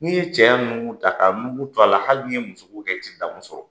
N'i ye cɛya nunkun ta, ka nunkun to a la hali n'i ye muso ko kɛ, a i tɛ daamu sɔrɔ.